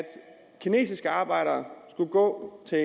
kinesiske arbejdere skulle gå til